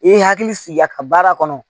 I ye hakili sigi a ka baara kɔnɔ